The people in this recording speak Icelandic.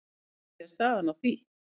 En hvernig er staðan í því?